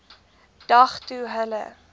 dag toe hulle